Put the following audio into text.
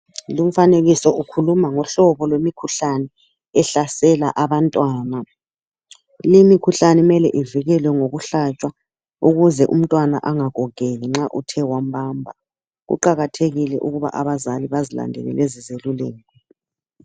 lumfanekiso ukhuluma ngohlobo lwemikhuhlane ehlasela abantwana le mikhuhlane kumele ivikelwe ngokuhlatshwa ukuze umntwana angagogeki nxa uthe wambamba kuqakathekile ukuba abazali bazilandele lezizeluleko